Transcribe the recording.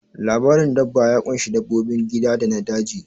Labarin dabba ya ƙunshi dabbobin gida da na daji